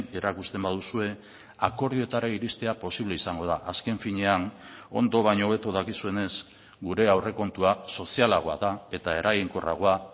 erakusten baduzue akordioetara iristea posible izango da azken finean ondo baino hobeto dakizuenez gure aurrekontua sozialagoa da eta eraginkorragoa